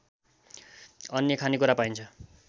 अन्य खानेकुरा पाइन्छ